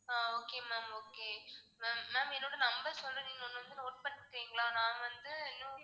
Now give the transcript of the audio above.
ஆஹ் okay ma'am okay ma'am ma'am என்னோட number சொல்றேன். நீங்க ஒரு நிமிஷம் note பண்ணிக்கறீங்களா? நான் வந்து இன்னும்